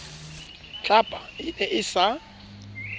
tlhapa e ne e sa